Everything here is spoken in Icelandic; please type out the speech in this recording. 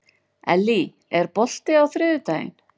Ellý, er bolti á þriðjudaginn?